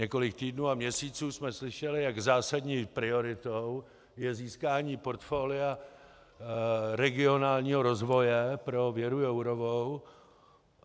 Několik týdnů a měsíců jsme slyšeli, jak zásadní prioritou je získání portfolia regionálního rozvoje pro Věru Jourovou.